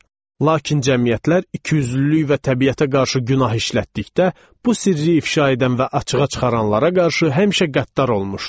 Lakin cəmiyyətlər ikiyüzlülük və təbiətə qarşı günah işlətdikdə, bu sirri ifşa edən və açığa çıxaranlara qarşı həmişə qəddar olmuşdu.